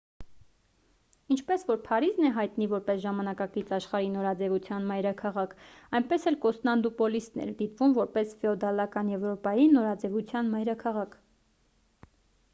ինչպես որ փարիզն է հայտնի որպես ժամանակակից աշխարհի նորաձևության մայրաքաղաք այնպես էլ կոստանդնուպոլիսն էր դիտվում որպես ֆեոդալական եվրոպայի նորաձևության մայրաքաղաք